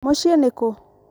mũciĩ nĩkũ?